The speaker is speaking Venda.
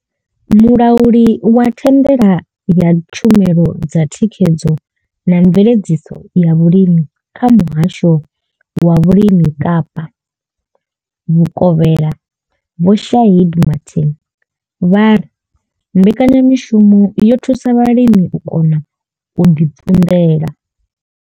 Mulauli wa thandela ya tshumelo dza thikhedzo na mveledziso ya vhulimi kha muhasho wa vhulimi kapa Vhukovhela Vho Shaheed Martin vha ri mbekanya mishumo yo thusa vhalimi u kona u ḓi ṱunḓela.